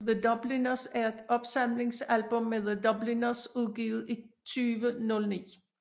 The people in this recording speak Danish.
The Dubliners er et opsamlingsalbum med The Dubliners udgivet i 2009